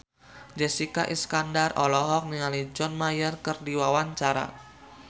Jessica Iskandar olohok ningali John Mayer keur diwawancara